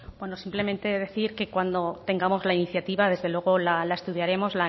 bueno simplemente decir que cuando tengamos la iniciativa desde luego la estudiaremos